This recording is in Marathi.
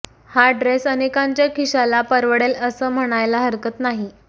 हा ड्रेस अनेकांच्या खिशाला परवडेल असं म्हणायला हरकत नाही